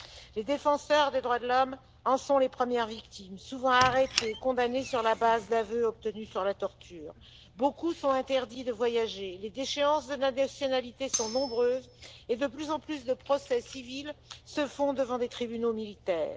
Les défenseurs des droits de l'homme en sont les premières victimes, souvent arrêtés et condamnés sur la base d'aveux obtenus sous la torture. Beaucoup ont l'interdiction de voyager, les déchéances de nationalité sont nombreuses et de plus en plus de procès civils se font devant des tribunaux militaires.